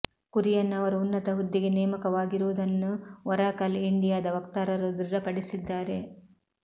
ಕುರಿಯನ್ ಅವರು ಉನ್ನತ ಹುದ್ದೆಗೆ ನೇಮಕವಾಗಿರುವುದನ್ನು ಒರಾಕಲ್ ಇಂಡಿಯಾದ ವಕ್ತಾರರು ದೃಢಪಡಿಸಿದ್ದಾರೆ